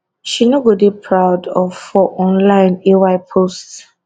she no go dey proud of for online ay post